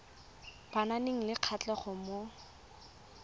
ba nang le kgatlhego mo